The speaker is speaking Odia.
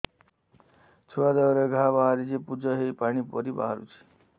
ଛୁଆ ଦେହରେ ଘା ବାହାରିଛି ପୁଜ ହେଇ ପାଣି ପରି ବାହାରୁଚି